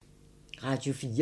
Radio 4